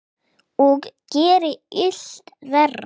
Og gerir illt verra.